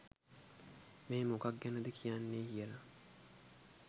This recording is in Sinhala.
මේ මොකක් ගැනද කියන්නේ කියලා